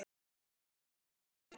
Já svarar hann aftur.